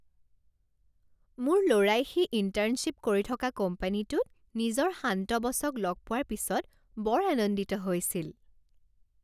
মোৰ ল'ৰাই সি ইন্টাৰ্নশ্বিপ কৰি থকা কোম্পানীটোত নিজৰ শান্ত বছক লগ পোৱাৰ পিছত বৰ আনন্দিত হৈছিল।